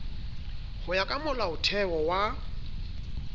ho ya ka molaotheo wa